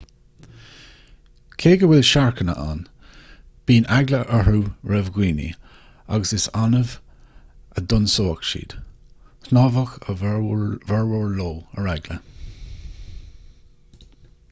cé go bhfuil siorcanna ann bíonn eagla orthu roimh dhaoine agus is annamh a d'ionsódh siad shnámhadh a bhformhór leo ar eagla